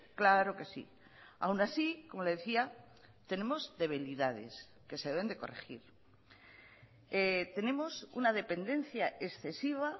claro que sí aun así como le decía tenemos debilidades que se deben de corregir tenemos una dependencia excesiva